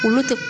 Olu tɛ